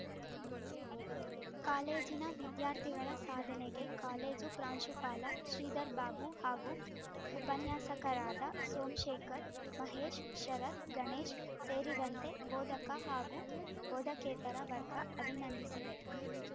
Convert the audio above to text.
ಕಾಲೇಜಿನ ವಿದ್ಯಾರ್ಥಿಗಳ ಸಾಧನೆಗೆ ಕಾಲೇಜು ಪ್ರಾಂಶುಪಾಲ ಶ್ರೀಧರ್‌ಬಾಬು ಹಾಗೂ ಉಪನ್ಯಾಸಕರಾದ ಸೋಮಶೇಖರ್‌ ಮಹೇಶ್‌ ಶರತ್‌ ಗಣೇಶ್‌ ಸೇರಿದಂತೆ ಬೋಧಕ ಹಾಗು ಬೋಧಕೇತರ ವರ್ಗ ಅಭಿನಂದಿಸಿದೆ